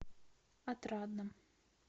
отрадном